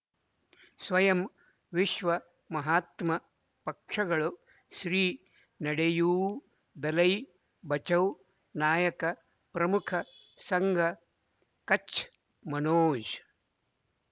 ಸ್ವಯಂ ವಿಶ್ವ ಮಹಾತ್ಮ ಪಕ್ಷಗಳು ಶ್ರೀ ನಡೆಯೂ ದಲೈ ಬಚೌ ನಾಯಕ ಪ್ರಮುಖ ಸಂಘ ಕಚ್ ಮನೋಜ್